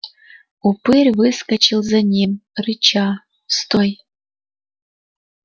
упырь выскочил за ним рыча стой